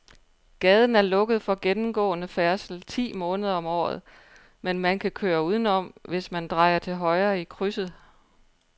Gaden er lukket for gennemgående færdsel ti måneder om året, men man kan køre udenom, hvis man drejer til højre i krydset.